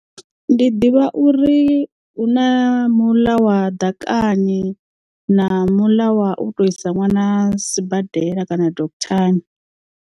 Ndi ḓivha uri huna muḽa wa ḓakani na muḽa wa u tou isa nwana sibadela kana doctor ni.